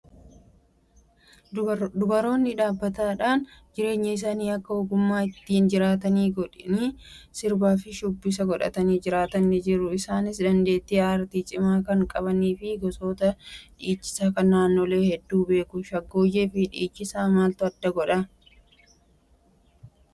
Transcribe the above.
Dubaroonni dhaabbataadhaan jireenya isaanii akka ogummaa ittiin jiraatanii godhanii sirbaa fi shubbisa godhatanii jiraatan ni jiru. Isaanis dandeettii aartii cimaa kan qabanii fi gosoota dhiichisaa kan naannolee hedduu beeku. Shaggooyyee fi dhiichisa maaltu adda godhaa?